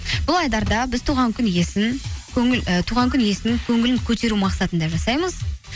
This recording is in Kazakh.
бұл айдарда біз ііі туған күн иесін көңілін көтеру мақсатында жасаймыз